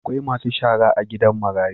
Akwai Masu shara a gidan marayu.